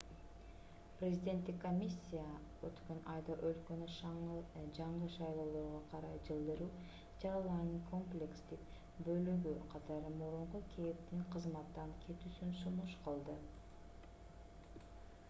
президенттик комиссия өткөн айда өлкөнү жаңы шайлоолорго карай жылдыруу чараларынын комплекстик бөлүгү катары мурунку кэптин кызматтан кетүүсүн сунуш кылды